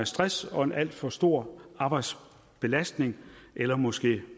stress og en alt for stor arbejdsbelastning eller måske